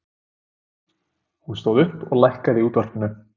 Hún stóð upp og lækkaði í útvarpinu.